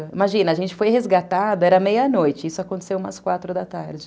Imagina, a gente foi resgatada, era meia-noite, isso aconteceu umas quatro da tarde.